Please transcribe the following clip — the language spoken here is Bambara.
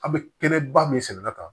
An bɛ kɛnɛba min sɛnɛla kan